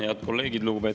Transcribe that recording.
Head kolleegid!